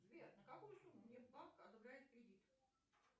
сбер на какую сумму мне банк одобряет кредит